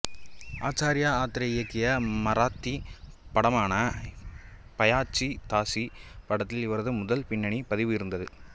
ஆச்சார்யா ஆத்ரே இயக்கிய மராத்தி படமான பயாச்சி தாசி படத்தில் இவரது முதல் பின்னணி பதிவு இருந்தது